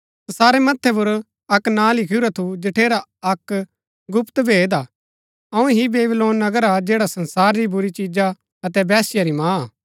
तसारै मथ्थै पुर अक्क नां लिखुरा थू जठेरा अक्क गुप्त भेद हा अऊँ ही बेबीलोन नगर हा जैड़ा संसार री बुरी चिजा अतै वेश्या री माँ हा